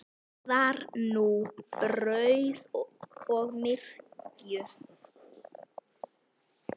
Borðar núna brauð og myrju.